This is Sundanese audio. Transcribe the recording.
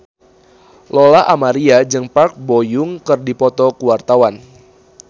Lola Amaria jeung Park Bo Yung keur dipoto ku wartawan